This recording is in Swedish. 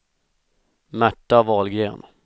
Märta Wahlgren